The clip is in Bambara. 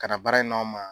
Kara baara in n'an ma